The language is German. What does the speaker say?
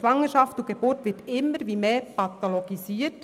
Schwangerschaft und Geburt werden immer mehr pathologisiert.